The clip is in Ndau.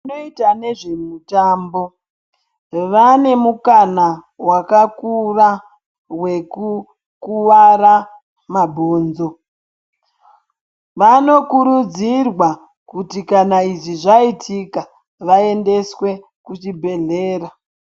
Vanoite nezvemitambo vaane mukana wakakura wekukuwara mabhonzo. Vanokurudzirwa kuti kana izvi zvaitika vaendeswe kuchibhedhlera.